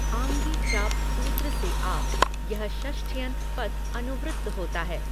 आङि चाप सूत्र से आप, यह षष्ठ्यन्त पद अनुवृत्त होता है।